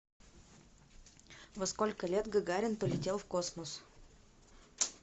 во сколько лет гагарин полетел в космос